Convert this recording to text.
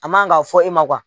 A man kan k'a fɔ e ma